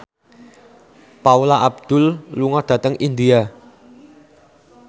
Paula Abdul lunga dhateng India